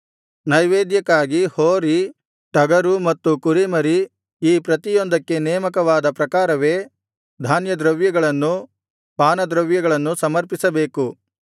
ನೈವೇದ್ಯಕ್ಕಾಗಿ ಹೋರಿ ಟಗರು ಮತ್ತು ಕುರಿಮರಿ ಈ ಪ್ರತಿಯೊಂದಕ್ಕೆ ನೇಮಕವಾದ ಪ್ರಕಾರವೇ ಧಾನ್ಯದ್ರವ್ಯಗಳನ್ನೂ ಪಾನದ್ರವ್ಯಗಳನ್ನೂ ಸಮರ್ಪಿಸಬೇಕು